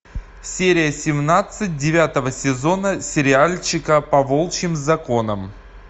серия семнадцать девятого сезона сериальчика по волчьим законам